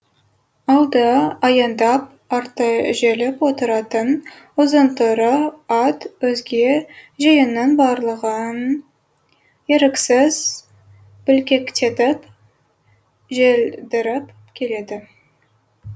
алды аяңдап арты желіп отыратын ұзын торы ат өзге жиынның барлығын еріксіз бүлкектетіп желдіріп келеді